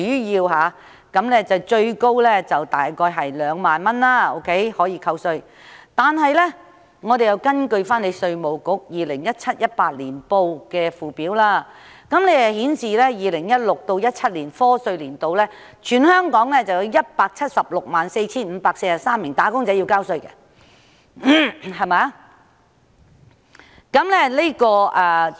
以每宗個案可減稅上限2萬元為例，根據稅務局 2017-2018 年年報的附表顯示 ，2016-2017 課稅年度全港有 1,764 543名"打工仔女"需繳交薪俸稅。